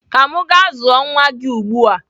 Ka m gaa zụọ nwa ugbu a.